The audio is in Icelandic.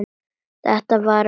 Þetta var að vori til.